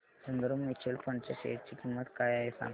Sundaram mutual fund च्या share ची किंमत काय आहे सांगा